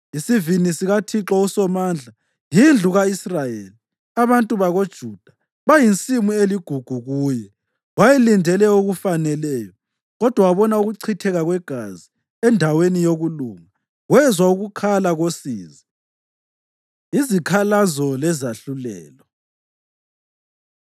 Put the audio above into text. Isivini sikaThixo uSomandla yindlu ka-Israyeli; abantu bakoJuda bayinsimu eligugu kuye. Wayelindele okufaneleyo, kodwa wabona ukuchitheka kwegazi; endaweni yokulunga, wezwa ukukhala kosizi. Izikhalazo Lezahlulelo